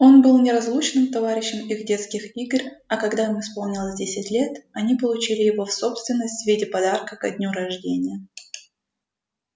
он был неразлучным товарищем их детских игр а когда им исполнилось десять лет они получили его в собственность в виде подарка ко дню рождения